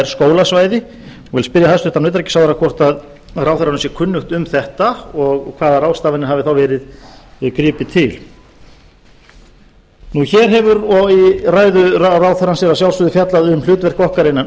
skólasvæði og ég vil spyrja hæstvirtan utanríkisráðherra hvort ráðherranum sé kunnugt um þetta og hvaða ráðstafanir hafi þá verið gripið til hér er í ræðu ráðherrans að sjálfsögðu fjallað um hlutverk okkar innan